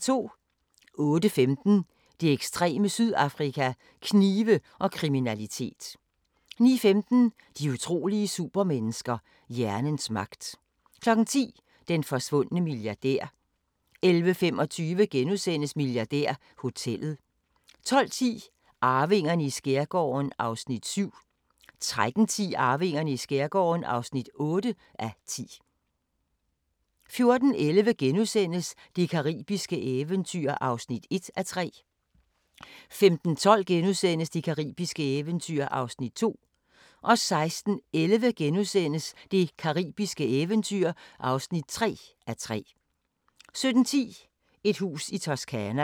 08:15: Det ekstreme Sydafrika: Knive og kriminalitet 09:15: De utrolige supermennesker – hjernens magt 10:00: Den forsvundne milliardær 11:25: Milliardærhotellet * 12:10: Arvingerne i skærgården (7:10) 13:10: Arvingerne i skærgården (8:10) 14:11: Det caribiske eventyr (1:3)* 15:12: Det caribiske eventyr (2:3)* 16:11: Det caribiske eventyr (3:3)* 17:10: Et hus i Toscana